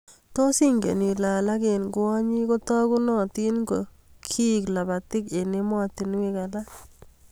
Tos ingen ilee alak eng kwonyik teganunotin ko kieku lapatik eng emotinwek alaak